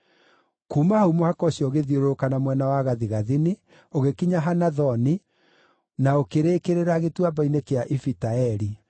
Kuuma hau mũhaka ũcio ũgĩthiũrũrũka na mwena wa gathigathini, ũgĩkinya Hanathoni, na ũkĩrĩkĩrĩra gĩtuamba-inĩ kĩa Ifita-Eli.